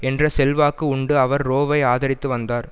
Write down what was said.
என்ற செல்வாக்கு உண்டு அவர் ரோவை ஆதரித்து வந்தார்